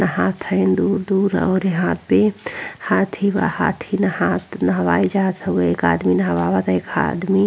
नहात हईन दूर-दूर और यहाँ पे हाँथी बा हाँथी नहात नहवाई जात हउवे एक आदमी नहवावता एक आदमी --